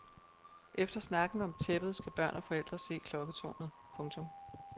Efter snakken om tæppet skal børn og forældre se klokketårnet. punktum